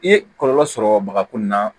I ye kɔlɔlɔ sɔrɔ bagako nin na